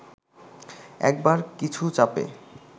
একবার কিছু চাপে